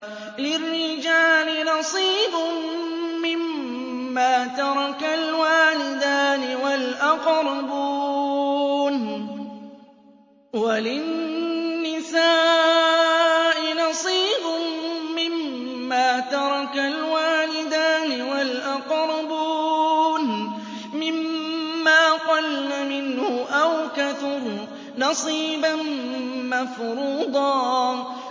لِّلرِّجَالِ نَصِيبٌ مِّمَّا تَرَكَ الْوَالِدَانِ وَالْأَقْرَبُونَ وَلِلنِّسَاءِ نَصِيبٌ مِّمَّا تَرَكَ الْوَالِدَانِ وَالْأَقْرَبُونَ مِمَّا قَلَّ مِنْهُ أَوْ كَثُرَ ۚ نَصِيبًا مَّفْرُوضًا